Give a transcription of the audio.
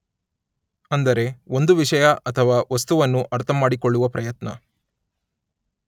ಅಂದರೆ ಒಂದು ವಿಷಯ ಅಥವಾ ವಸ್ತುವನ್ನು ಅರ್ಥಮಾಡಿಕೊಳ್ಳುವ ಪ್ರಯತ್ನ